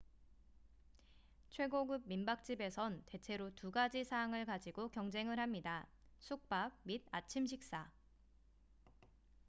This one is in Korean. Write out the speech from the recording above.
최고급 민박집에선 대체로 두가지 사항을 가지고 경쟁을 합니다 숙박 및 아침식사